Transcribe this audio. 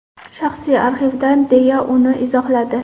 Shaxsiy arxivdan”, deya uni izohladi.